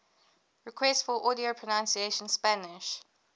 requests for audio pronunciation spanish